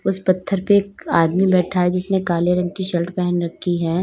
उस पत्थर पे एक आदमी बैठा है जिसने काले रंग की शर्ट पहन रखी है।